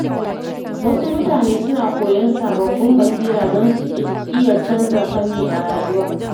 Wasu mutane suna koyon sababbin basira don su iya canza fanni a rayuwa.